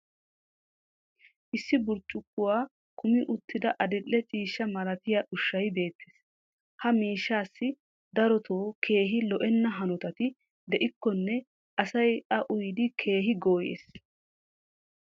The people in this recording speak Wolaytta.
issi burccukkuwaa kummi uttida adil'e ciishsha malattiyaa ushshay beetees. ha miishshaassi darotoo keehi lo'enna hanotatti de'ikkonne asay a uyyidi keehi gooyees.